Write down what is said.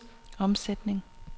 omsætning